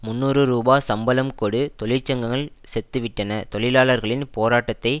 முன்னூறு ரூபா சம்பளம் கொடு தொழிற்சங்கங்கள் செத்துவிட்டன தொழிலாளர்களின் போராட்டத்தை